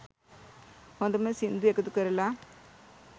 හොඳම සින්දු එකතු කරලා